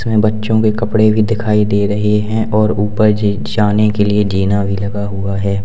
इसमें बच्चों के कपड़े भी दिखाई दे रहे हैं और ऊपर जे जाने के लिए जीना भी लगा हुआ है।